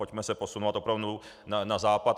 Pojďme se posunovat opravdu na západ.